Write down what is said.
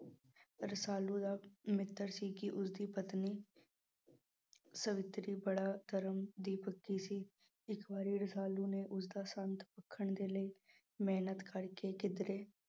ਰਸਾਲੂ ਦਾ ਮਿੱਤਰ ਸੀ ਕਿ ਉਸਦੀ ਪਤਨੀ ਸਵਿਤਰੀ ਬੜਾ ਧਰਮ ਦੀ ਪੱਕੀ ਸੀ, ਇੱਕ ਵਾਰੀ ਰਸਾਲੂ ਨੇ ਉਸਦਾ ਦੇ ਲਈ ਮਿਹਨਤ ਕਰਕੇ ਕਿੱਧਰੇ